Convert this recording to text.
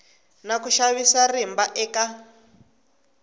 na ku xavisa rimba eka